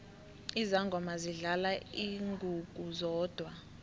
izangoma zidlala ingungu zodwa